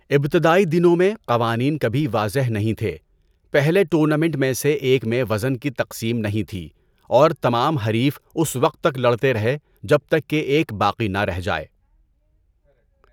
ابتدائی دنوں میں، قوانین کبھی واضح نہیں تھے، پہلے ٹورنامنٹ میں سے ایک میں وزن کی تقسیم نہیں تھی اور تمام حریف اس وقت تک لڑتے رہے جب تک کہ ایک باقی نہ رہ جائے۔